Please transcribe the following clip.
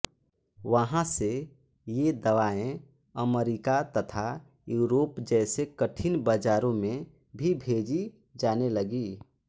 वहां से ये दवाएं अमरीका तथा यूरोप जैसे कठिन बाजारों में भी भेजी जाने लगी